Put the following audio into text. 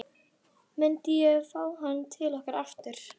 Myndi ég fá hann til okkar aftur?